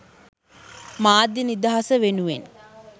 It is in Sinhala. මාධ්‍ය නිදහස වෙනුවෙන්